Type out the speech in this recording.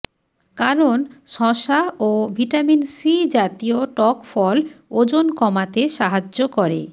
কারণ শসা ও ভিটামিন সি জাতীয় টক ফল ওজন কমাতে সাহায্য করে